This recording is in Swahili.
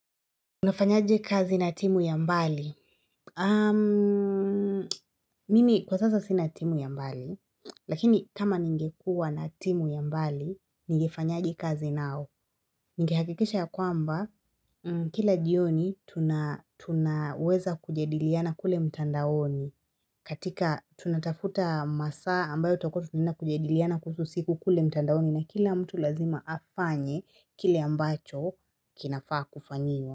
Nafanyaje kazi na timu ya mbali? Ammm, mimi kwa sasa sina timu ya mbali, lakini kama ningekuwa na timu ya mbali, ningefanyaje kazi nao. Ningehakikisha ya kwamba, kila jioni, tunaweza kujediliana kule mtandaoni. Katika, tunatafuta masaa ambayo tokuwa, nina kujediliana kuhusu siku kule mtandaoni, na kila mtu lazima afanye kile ambacho kinafaa kufanyiwa.